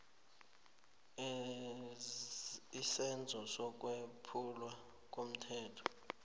isenzo sokwephulwa komthetho